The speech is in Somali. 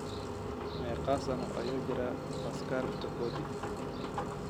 Meeqa sano ayuu jiraa Pascal Tokodi?